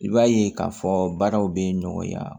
I b'a ye k'a fɔ baaraw bɛ nɔgɔya